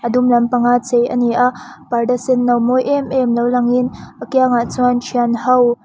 dum lampanga chei a ni a parda senno mawi em em lo lang in a kiangah chuan thian ho--